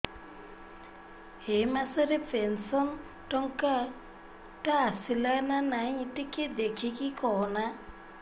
ଏ ମାସ ରେ ପେନସନ ଟଙ୍କା ଟା ଆସଲା ନା ନାଇଁ ଟିକେ ଦେଖିକି କହନା